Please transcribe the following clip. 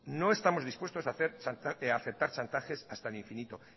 no estamos dispuestos a aceptar chantajes hasta el infinito